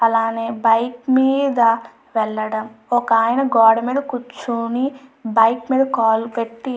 అలానే బైక్ మీద వెళ్లడం ఒక ఆయన బైక్ మీద కూర్చుని బైక్ మీద కాలు పెట్టి--